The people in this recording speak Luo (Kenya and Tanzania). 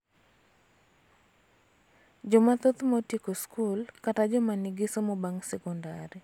Jomathoth ma otieko skul�kata joma nigi somo bang� sekondari�